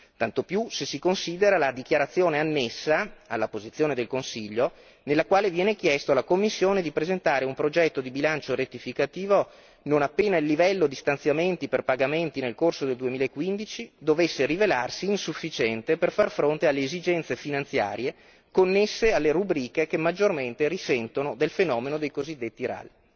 Tanto più se si considera la dichiarazione annessa alla posizione del Consiglio, nella quale viene chiesto alla Commissione di presentare un progetto di bilancio rettificativo non appena il livello di stanziamenti per pagamenti nel corso del 2015 dovesse rivelarsi insufficiente per far fronte alle esigenze finanziarie connesse alle rubriche che maggiormente risentono del fenomeno dei cosiddetti RAL.